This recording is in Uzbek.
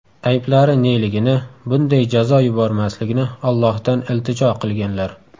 Ayblari neligini, bunday jazo yubormasligini Ollohdan iltijo qilganlar.